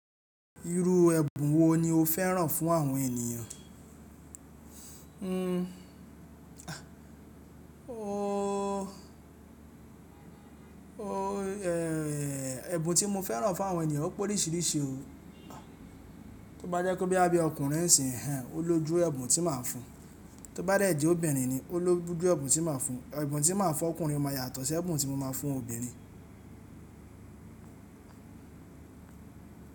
Irú ẹ̀bùn wo ni o fẹ́ràn fún àwọn ènìyàn? Ooo, ooo, e, e, ẹ̀bùn tí mo fẹ́ràn fún àwọn ènìyàn ó pẹ́ oríṣìíríṣìí o. Tó bá jẹ́ kó bí ẹbí ọkùnrin sì ń hàn, ó lójú ẹ̀bùn tí màá fún un. Tó bá dẹ̀ jí obìnrin ni, ó lójú ẹ̀bùn tí màá fún un. Ẹ̀bùn tí màá fún ọkùnrin máa yàtọ̀ sí ẹ̀bùn tí mo máa fún obìnrin.